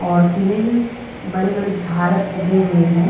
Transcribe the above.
और किले में बड़े-बड़े झाड़ उगे हुए है।